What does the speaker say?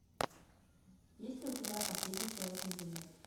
есть ли у тебя последний человек на земле